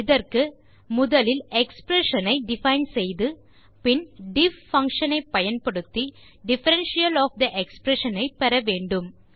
இதற்கு முதலில் எக்ஸ்பிரஷன் ஐ டிஃபைன் செய்து பின் டிஃப் பங்ஷன் ஐ பயன்படுத்தி டிஃபரன்ஷியல் ஒஃப் தே எக்ஸ்பிரஷன் ஐ பெற வேண்டும்